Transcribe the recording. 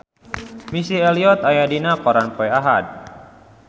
Missy Elliott aya dina koran poe Ahad